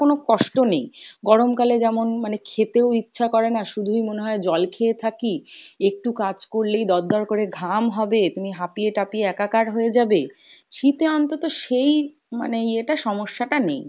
কোনো কষ্ট নেই, গরম কাল যেমন মানে খেতেও ইচ্ছা করে না শুধুই মনে হয় জল খেয়ে থাকি, একটু কাজ করলেই দর দর করে ঘাম হবে তুমি হাপিয়ে টাপিয়ে একা কার হয়ে যাবে, শীতে অন্তত সেই মানে ইয়েটা সমস্যা টা নেই,